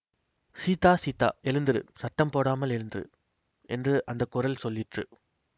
சீதா சீதா எழுந்திரு சத்தம் போடாமல் எழுந்திரு என்று அந்த குரல் சொல்லிற்று